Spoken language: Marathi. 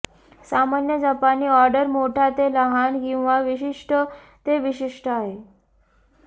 सामान्य जपानी ऑर्डर मोठा ते लहान किंवा विशिष्ट ते विशिष्ट आहे